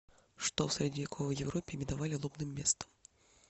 что в средневековой европе именовали лобным местом